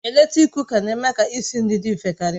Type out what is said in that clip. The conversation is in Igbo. Eletrik Kụka na-eme ka isi nri dị mfe karịa